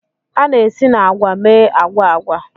A na-esi na agwa mee agwa agwa.